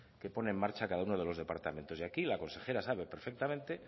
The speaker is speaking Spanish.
que pone en marcha cada uno de los departamentos y aquí la consejera sabe perfectamente